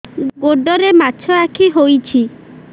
ଗୋଡ଼ରେ ମାଛଆଖି ହୋଇଛି